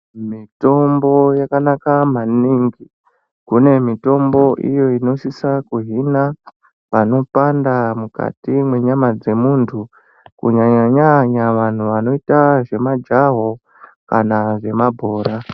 Mitombo yakanaka maningi. Kune mitombo iyo inosisa kuhina panopanda mukati mwenyama dzemuntu kunyanya-nyanya vantu vanoita zvemajaho kana zvemabhora.